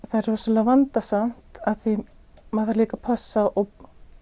það er rosalega vandasamt því að maður þarf líka að passa og